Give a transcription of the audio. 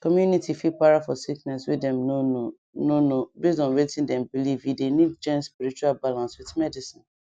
community fit para for sickness way dem no know no know base on wetin dem believee dey need join spiritual balance with medicine